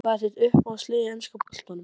Hvað er þitt uppáhalds lið í enska boltanum?